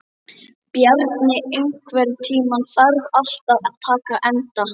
Bjarni, einhvern tímann þarf allt að taka enda.